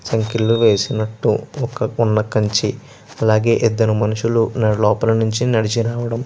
సంకెళ్లు వేసినట్టు ఒక పొన్న కంచి అలాగే ఇద్దరు మనుషులు లోపలనుంచి నడిచి రావడం --